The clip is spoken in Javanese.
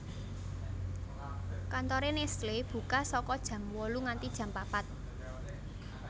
Kantore Nestle buka saka jam wolu nganti jam papat